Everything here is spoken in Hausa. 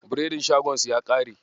Biredin shagon su ya ƙare.